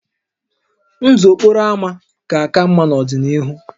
Ndụ okporo ámá ga-aka mma n'ọdịnihu